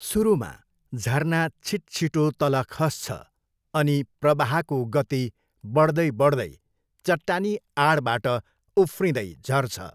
सुरुमा, झरना छिट्छिटो तल खस्छ अनि प्रवाहको गति बढ्दै बढ्दै चट्टानी आडबाट उफ्रिँदै झर्छ।